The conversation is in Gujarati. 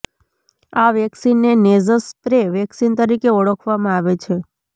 આ વેક્સિનને નેઝસ સ્પ્રે વેકિસન તરીકે ઓળખવામાં આવે છે